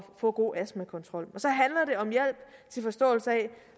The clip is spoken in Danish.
få god astmakontrol og til forståelse af